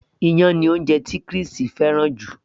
iyán ni oúnjẹ tí Chris fẹ́ràn jù